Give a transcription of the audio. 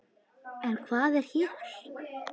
En hvað er hér?